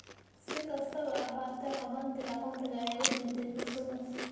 Si kastaba ha ahaatee, qabatinka khamriga ayaa u diiday fursadaas.